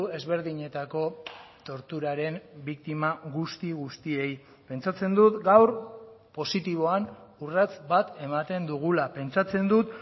ezberdinetako torturaren biktima guzti guztiei pentsatzen dut gaur positiboan urrats bat ematen dugula pentsatzen dut